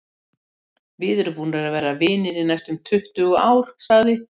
Við erum búnir að vera vinir í næstum tuttugu ár, sagði